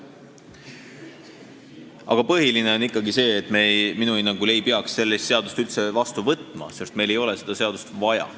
Aga põhiline on ikkagi see, et me minu hinnangul ei peaks sellist seadust üldse vastu võtma, sest meil ei ole seda seadust vaja.